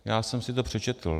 Já jsem si to přečetl.